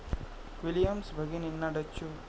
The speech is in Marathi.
विलियम्स भगिनींना डच्चू